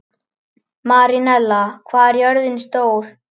Marinella, hvað er jörðin stór?